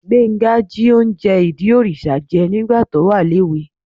Gbénga jí oúnjẹ ìdí òrìṣà jẹ nígbà tó wà léwe